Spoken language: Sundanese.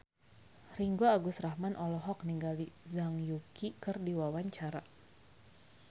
Ringgo Agus Rahman olohok ningali Zhang Yuqi keur diwawancara